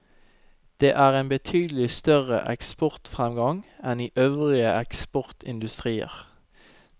Det er en betydelig større eksportfremgang enn i øvrige eksportindustrier.